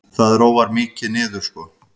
Það róar mikið niður sko.